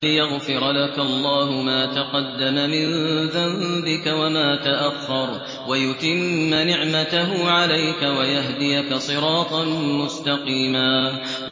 لِّيَغْفِرَ لَكَ اللَّهُ مَا تَقَدَّمَ مِن ذَنبِكَ وَمَا تَأَخَّرَ وَيُتِمَّ نِعْمَتَهُ عَلَيْكَ وَيَهْدِيَكَ صِرَاطًا مُّسْتَقِيمًا